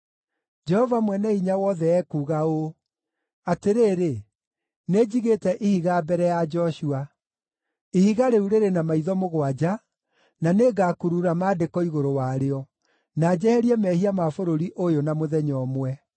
Jehova Mwene-Hinya-Wothe ekuuga ũũ, ‘Atĩrĩrĩ, nĩnjigĩte ihiga mbere ya Joshua! Ihiga rĩu rĩrĩ na maitho mũgwanja, na nĩngakurura maandĩko igũrũ warĩo, na njeherie mehia ma bũrũri ũyũ na mũthenya ũmwe.